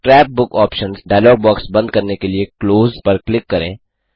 scrap book options dialog box बंद करने के लिए क्लोज Closपर क्लिक करें